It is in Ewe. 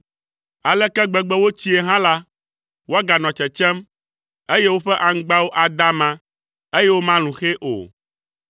Aleke gbegbe wotsii hã la, woaganɔ tsetsem, eye woƒe aŋgbawo ada ama, eye womalũ xɛ o.